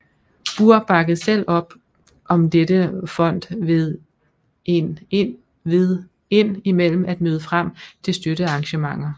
Burr bakkede selv op om dette fond ved ind imellem at møde frem til støttearrangementer